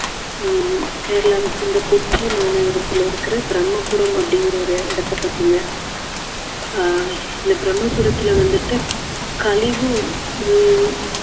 ஹம் கேரளாவை சேர்ந்த கொச்சி மாநகரத்துல இருக்குற பிரம்மபுரம் அப்படிங்குற ஒரு இடத்தை பத்திங்க ஆஹ் இந்த பிரம்மபுரத்துல வந்துட்டு கழிவு உள்~